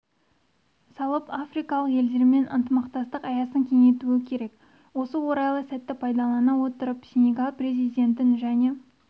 салып африкалық елдермен ынтымақтастық аясын кеңейтуі керек осы орайлы сәтті пайдалана отырып сенегал президентін және